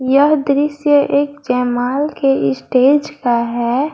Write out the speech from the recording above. यह दृश्य एक जयमाला के स्टेज का है।